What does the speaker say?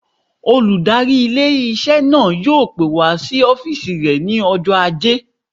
Olùdarí ilé-iṣẹ́ náà yóò pè wá sí ọ́fìsì rẹ̀ ní ọjọ́ ajé